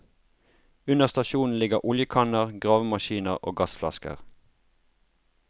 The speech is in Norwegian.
Under stasjonen ligger oljekanner, gravemaskiner og gassflasker.